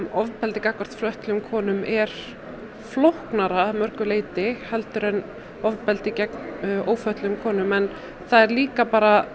ofbeldi gagnvart fötluðum konum er flóknara að mörgu leyti heldur en ofbeldi gegn ófötluðum konum en það er líka bara